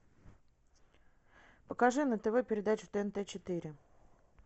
покажи на тв передачу тнт четыре